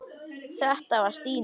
Þetta var Stína.